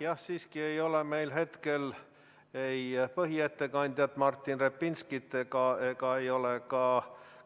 Jah, aga meil ei ole hetkel ei põhiettekandjat Martin Repinskit ega ole ka